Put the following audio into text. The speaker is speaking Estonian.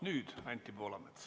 Nüüd Anti Poolamets.